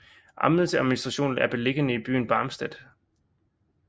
Amtets administration er beliggende i byen Barmstedt